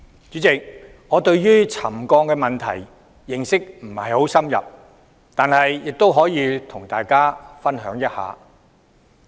主席，我對沉降問題的認識不太深入，但亦可以和大家分享一點。